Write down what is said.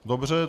Dobře.